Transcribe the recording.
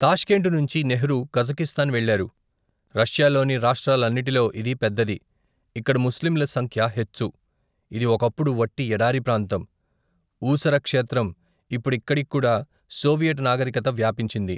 Tashkent నుంచి Nehru Kazakhstan వెళ్ళారు రష్యాలోని, రాష్ట్రాలన్నిటిలో ఇది పెద్దది ఇక్కడ ముస్లింల సంఖ్య హెచ్చు ఇది ఒకప్పుడు వట్టి ఎడారి ప్రాంతం ఊసర క్షేత్రం ఇప్పుడిక్కడికికూడా, సోవియట్ నాగరికత వ్యాపించింది.